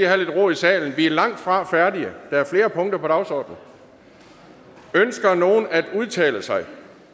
have lidt ro i salen vi er langtfra færdige der er flere punkter på dagsordenen ønsker nogen at udtale sig